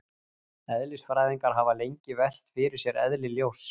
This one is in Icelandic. eðlisfræðingar hafa lengi velt fyrir sér eðli ljóss